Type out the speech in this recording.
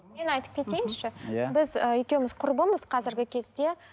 мен айтып кетейінші иә біз ы екеуіміз құрбымыз қазіргі кезде